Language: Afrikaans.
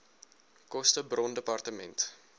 koste bron dept